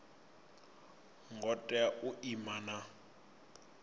ngo tea u ima na